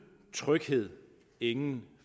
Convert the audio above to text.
tryghed ingen